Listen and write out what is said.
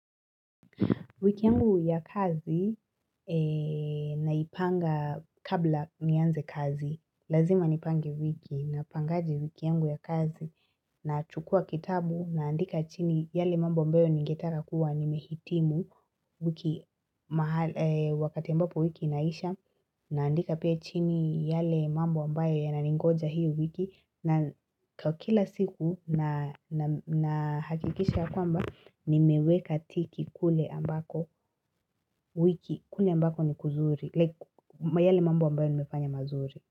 Wiki yangu ya kazi naipanga kabla nianze kazi, lazima nipange wiki, napangaje wiki yangu ya kazi, nachukua kitabu, naandika chini yale mambo mbayo ningetaka kuwa nimehitimu wiki wakati ambapo wiki inaisha, naandika pia chini yale mambo mbayo yananingoja hii wiki, na kwa kila siku na hakikisha ya kwamba nimeweka tiki kule ambako wiki kule ambako ni kuzuri kwa yale mambo ambayo nimefanya mazuri.